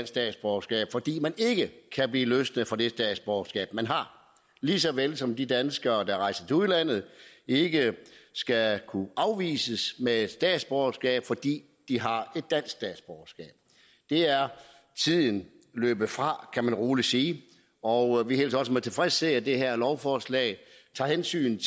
statsborgerskab fordi man ikke kan blive løst fra det statsborgerskab man har lige så vel som de danskere der rejser til udlandet ikke skal kunne afvises i at få statsborgerskab fordi de har dansk statsborgerskab det er tiden løbet fra kan man rolig sige og vi hilser også med tilfredshed at det her lovforslag tager hensyn